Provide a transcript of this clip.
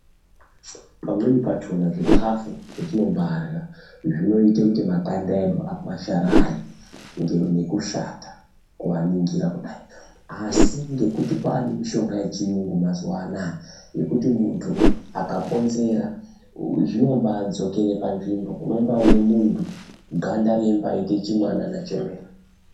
Pamweni pachona zvikafu zvetinombaarya zvinoite kuti makanda edu akwasharare nekushata kuaningira kudai. Asi ngekuti kwaane mishonga yechiyungu mazuva anaya, yekuti muntu akaponzera zvinombaadzokere panzvimbo unombaaone muntu ganda reimbaaite chimwanana chemene.